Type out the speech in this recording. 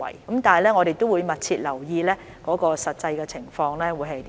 但我們會密切留意實際的情況。